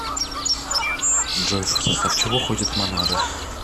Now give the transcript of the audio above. джой в состав чего входит монада